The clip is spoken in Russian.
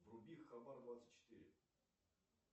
вруби хабар двадцать четыре